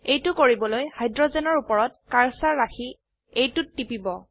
এইটো কৰিবলৈ হাইড্ৰোজেনৰ উপৰত কাৰ্সাৰ ৰাখি এইটোত টিপিব